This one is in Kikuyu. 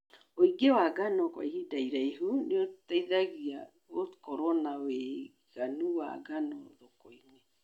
Wĩigĩ wa ngano kwa ihinda rĩraihu nĩgũteithagia gũkorwo na wĩiganu wa ngano thokoinĩ.